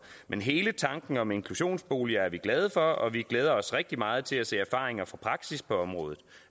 men hele tanken om inklusionsboliger er vi glade for og vi glæder os rigtig meget til at se erfaringer fra praksis på området